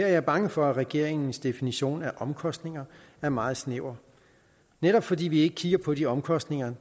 er jeg bange for at regeringens definition af omkostninger er meget snæver netop fordi man ikke kigger på de omkostninger